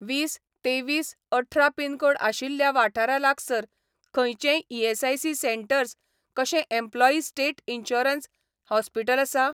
वीस तेवीस अठरा पिनकोड आशिल्ल्या वाठारा लागसार खंयचेंय ईएसआयसी सेटंर्स कशें एम्प्लॉयी स्टेट इन्सुरन्स हॉस्पीटल आसा ?